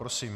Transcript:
Prosím.